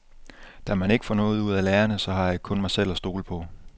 Da man ikke får noget ud af lærerne, så har jeg kun mig selv at stole på.